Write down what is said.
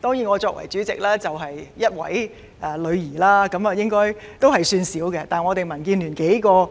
當然，我作為主席，卻只育有1名女兒，應該算少了，但民建聯有